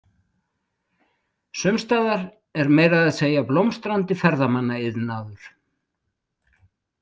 Sumstaðar er meira að segja blómstrandi ferðamannaiðnaður.